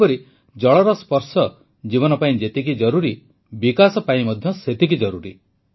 ସେହିପରି ଜଳର ସ୍ପର୍ଶ ଜୀବନ ପାଇଁ ଯେତିକି ଜରୁରୀ ବିକାଶ ପାଇଁ ମଧ୍ୟ ସେତିକି ଜରୁରୀ